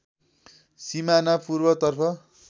सिमाना पूर्वतर्फ